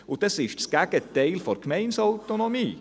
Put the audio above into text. Dies ist das Gegenteil der Gemeindeautonomie.